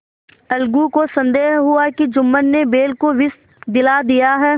अलगू को संदेह हुआ कि जुम्मन ने बैल को विष दिला दिया है